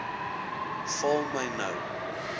val my nou